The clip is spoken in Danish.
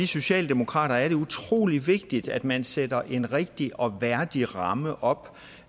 socialdemokrater er det utrolig vigtigt at man sætter en rigtig og værdig ramme op